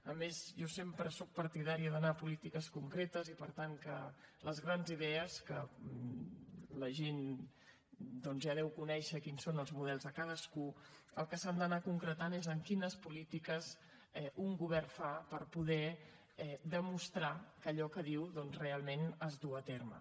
a més jo sempre soc partidària d’anar a polítiques concretes i per tant que les grans idees que la gent ja deu conèixer quins són els models de cadascú en el que s’han d’anar concretant és en quines polítiques un govern fa per poder demostrar que allò que diu doncs realment es duu a terme